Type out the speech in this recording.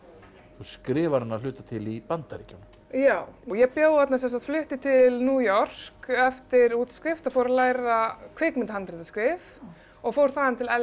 skrifar hana að hluta til í Bandaríkjunum já ég flutti til New York eftir útskrift og fór að læra kvikmyndahandritaskrif og fór þaðan til